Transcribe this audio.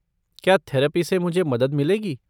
क्या थेरपी से मुझे मदद मिलेगी?